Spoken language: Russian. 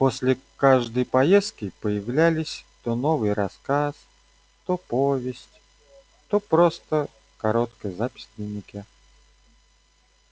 после каждой поездки появлялись то новый рассказ то повесть то просто короткая запись в дневнике